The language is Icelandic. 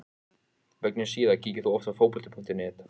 Mögnuð síða Kíkir þú oft á Fótbolti.net?